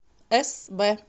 эсвэ